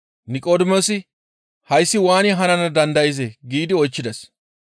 Niqodimoosi, «Hayssi waani hanana dandayzee?» giidi oychchides.